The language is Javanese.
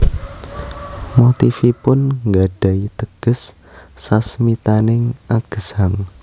Motifipun nggadhahi teges sasmitaning agesang